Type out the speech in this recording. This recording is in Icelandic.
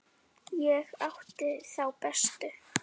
Ég átti þá bestu.